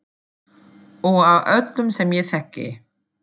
Og af öllum sem ég þekki.